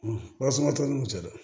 Warasumatɔ n'u cɛ dɛ